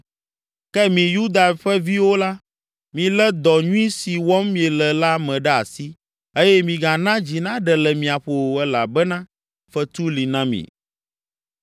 Ke mi Yuda ƒe viwo la, milé dɔ nyui si wɔm miele la me ɖe asi eye migana dzi naɖe le mia ƒo o elabena fetu li na mi.”